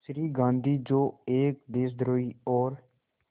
श्री गांधी जो एक देशद्रोही और